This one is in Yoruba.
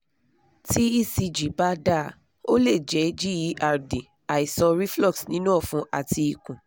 tí ecg bá dáa o lè jẹ́ gerd àìsàn reflux nínú ọ̀fun àti ikun